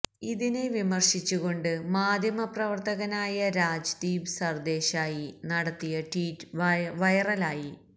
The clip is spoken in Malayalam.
ഇതിനെ വിമര്ശിച്ചുകൊണ്ട് മാധ്യമ പ്രവര്ത്തകനായ രാജ്ദീപ് സര്ദേശായി നടത്തിയ ട്വീറ്റ് വൈറലായി